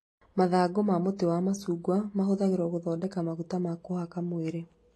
Mathangũ ma mũtĩ wa macungwa mahũthagĩrwo gũthondeka maguta ma kũhaka mwĩrĩ